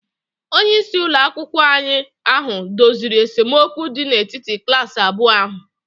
onyeisi ụlọ akwụkwọ ahụ doziri esemokwu dị n'etiti klaasị abụọ ahụ